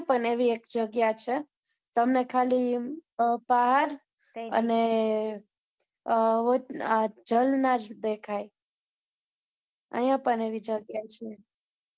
અહીંયા પણ એવી એક જગ્યા છે, તમને ખાલી અમ પહાડ અને અમ ઝરણાં જ દેખાય અહીંયા પણ એવી જગ્યા છે